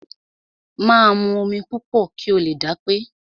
Máa mu omi púpọ̀ kí o lè dápé.